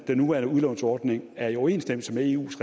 den nuværende udlånsordning er i overensstemmelse med eus